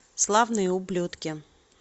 славные ублюдки